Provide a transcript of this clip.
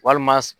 Walima